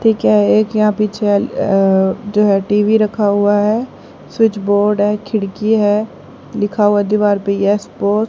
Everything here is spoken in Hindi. ठीक है एक यहां पीछे अ जो है टी_वी रखा हुआ है स्विच बोर्ड है खिड़की है लिखा हुआ दीवार पे एस बोस --